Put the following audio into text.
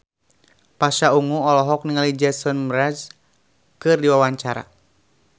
Pasha Ungu olohok ningali Jason Mraz keur diwawancara